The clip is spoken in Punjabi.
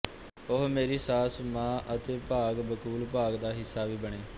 ਉਹ ਮੇਰੀ ਸਾਸੁ ਮਾਂ ਅਤੇ ਭਾਗ ਬਕੂਲ ਭਾਗ ਦਾ ਹਿੱਸਾ ਵੀ ਬਣੇ